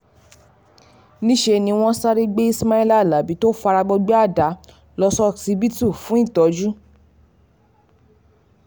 níṣẹ́ ni wọ́n sáré gbé ismaila alábi tó fara gbọgbẹ́ àdá lọ ṣókíbítù fún ìtọ́jú